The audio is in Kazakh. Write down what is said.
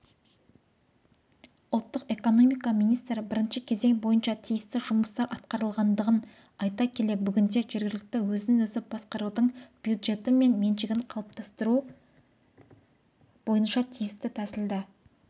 ұлттық экономика министрі бірінші кезең бойынша тиісті жұмыстар атқарлылғандығын айта келе бүгінде жергілікті өзін-өзі басқарудың бюджеті мен меншігін қалыптастыру бойынша тиісті